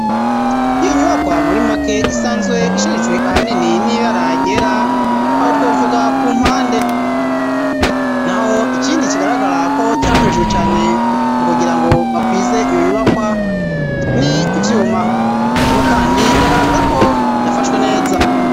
Iyo nyubakwa muri make isanzwe isharijwe ahanini n'ibara ryera aho twovuga ku mpande naho ikindi kigaragara ko cakorejwe cane mu kugira ngo bakwize iyo nyubakwa n'ivyuma ariko kandi iragaragara ko yafashwe neza.